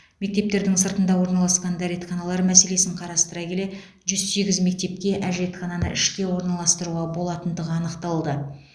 мектептердің сыртында орналасқан дәретханалар мәселесін қарастыра келе жүз сегіз мектепке әжетхананы ішке орналастыруға болатындығы анықталды